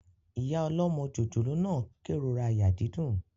Ìyá ọlọ́mọ jòjòló náà n kérora àyà dídùn